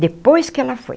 Depois que ela foi.